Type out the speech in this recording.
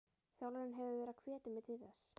Þjálfarinn hefur verið að hvetja mig til þess.